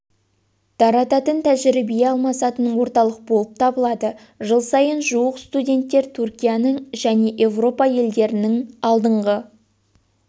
тарататын тәжірибе алмасатын орталық болып табылады жыл сайын жуық студенттер түркияның және еуропа елдерінің алдыңғы